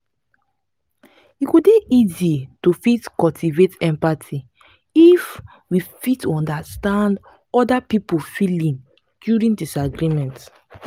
e go dey easy to fit cultivate empathy if we fit understand oda pipo feelings during disagreement